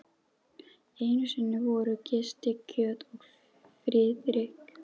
Einu sinni voru Gústi kjöt og Friðrik